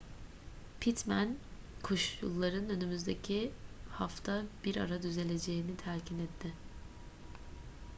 pittman koşulların önümüzdeki hafta bir ara düzeleceğini telkin etti